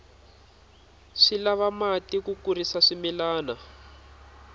swi lava mati ku kurisa swimilana